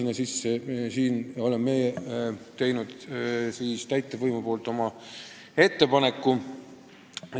Meie täitevvõimu poolt oleme aga teinud sellise ettepaneku.